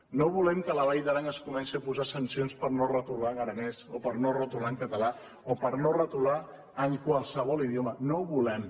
no volem que a la vall d’aran es comencin a posar sancions per no retolar en aranès o per no retolar en català o per no retolar en qualsevol idioma no ho volem